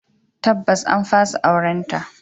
Tabbas an fasa aurenta.